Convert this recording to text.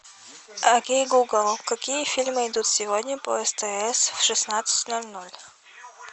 окей гугл какие фильмы идут сегодня по стс в шестнадцать ноль ноль